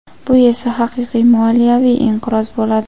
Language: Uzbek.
Bu esa haqiqiy moliyaviy inqiroz bo‘ladi.